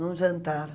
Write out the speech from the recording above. num jantar.